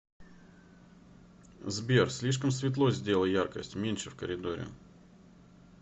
сбер слишком светло сделай яркость меньше в коридоре